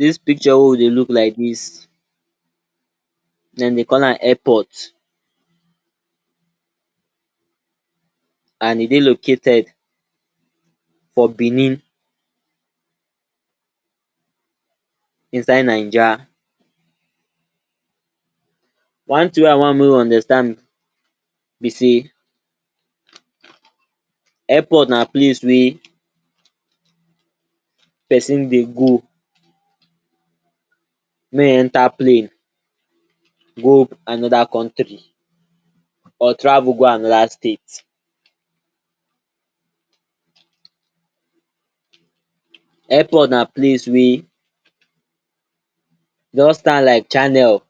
Dis picture wey we dey look like dis dem de call am airport, and e dey located for benin inside naija, one tin wey I want mey you understand be sey airport na place wey pesin dey go mey e enta plane go anoda country or travel go anoda state Airport na place wey just stand like channel,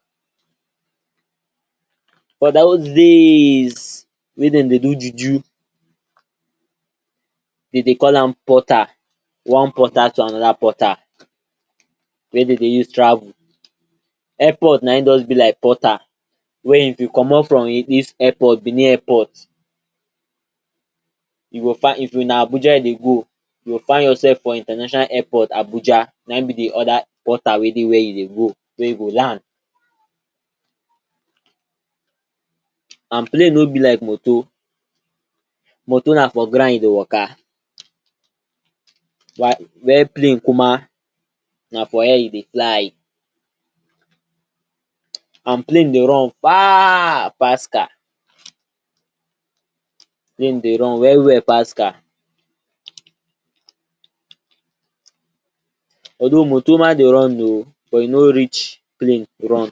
for dos daays wey dem dey do juju dey de call am portal one portal to anoda portal wey dey use travel Airport naim just be like portal wey if you comot airport benin airport you go fin if na Abuja you dey go you go find yourself for intanational airport Abuja naim be di oda portal wey dey wia you dey go wey you go land And plane no be like moto, moto na for ground im dey waka, wa wia palne kumaa na for air e dey fly and plane dey run faaaaar pass car, plane dey run well-well pass car Although moto marama dey run oh but e no reach plane run,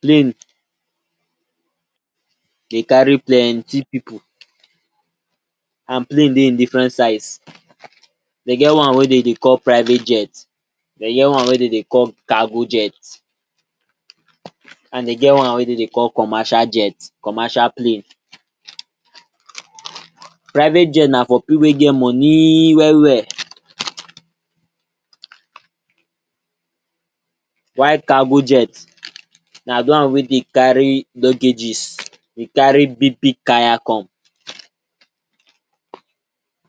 plane dey cari plenty pipu and plane dey different size Dey get one wey dey dey call private jet, dey get one wey dey de call cargo jet, and de get one wey dey de call commercial jet commercial plane Private jet na for pipu wey get monii well-well, while cargo jet na di one wey dey cari lugages dey cari big-big kaya come